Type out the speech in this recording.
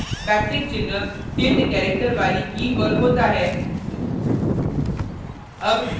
backtick चिन्ह tilde character वाली की key पर होता है